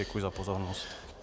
Děkuji za pozornost.